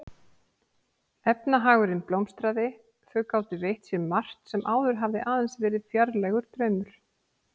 Efnahagurinn blómstraði, þau gátu veitt sér margt sem áður hafði aðeins verið fjarlægur draumur.